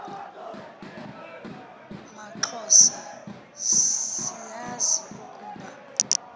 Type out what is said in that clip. maxhosa siyazi ukuba